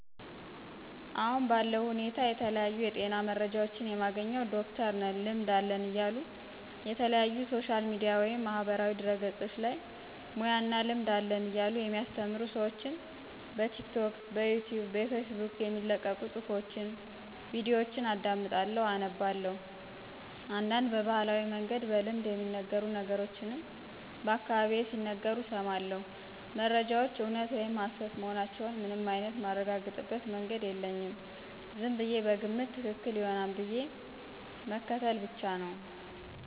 አሁን ባለው ሁኔታ የተለያዩ የጤና መረጃዎችን የማገኝው ዶክተርነን ልምድ አለን እያሉ የተለያዩ ሶሻል ሚዲያ ወይም ማህበራዊ ድህረገፆች ላይ ሙያ እና ልምድ አለን እያሉ የሚያስተምሩ ስዎችን በቲክቶክ፣ ብኢትዩብ፣ በፌስቡክ የሚለቀቁ ፁሑፎች፣ ቪዲዮችን አዳምጣለሁ አነባላሁ፣ እንዳንድ በባህላዊ መንገድ በልምድ የሚነገሩ ነገሮችን በአካባቢየ ሲናገሩ እስማለሁ። መረጃዎች እውነት ወይም ሀሰት መሆናቸውን ምንም አይንት ማረጋግጥበት መንገድ የለኝም ዝምብየ በግምት ትክክል ይሆናል ብዬ ምክትል ብቻ ነው።